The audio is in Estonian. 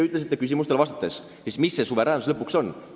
Aga mis see suveräänsus lõpuks on?